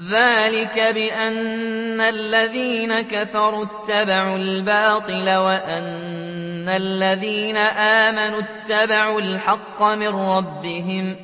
ذَٰلِكَ بِأَنَّ الَّذِينَ كَفَرُوا اتَّبَعُوا الْبَاطِلَ وَأَنَّ الَّذِينَ آمَنُوا اتَّبَعُوا الْحَقَّ مِن رَّبِّهِمْ ۚ